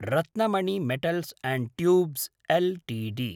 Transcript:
Ratnamani metals and tubes Ltd